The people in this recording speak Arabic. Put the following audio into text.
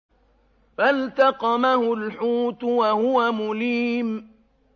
فَالْتَقَمَهُ الْحُوتُ وَهُوَ مُلِيمٌ